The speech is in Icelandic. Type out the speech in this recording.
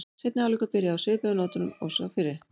Seinni hálfleikur byrjaði á svipuðu nótum og sá fyrri.